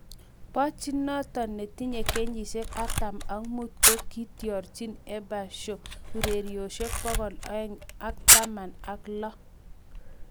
Pochettino netinye kenyisiek artam ak muut ko kiitiorji Espanyol ureriosyek bokol oeng ak taman ak lo